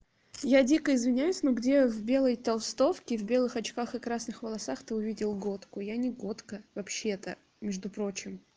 я дико извиняюсь но где в белой толстовке и в белых очках и красных волосах ты увидел готку я не готка вообще-то между прочим